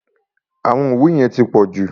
Àwọn ìwé yẹn ti pọ̀jù.